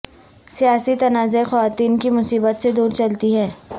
سیاسی تنازعہ خواتین کی مصیبت سے دور چلتی ہے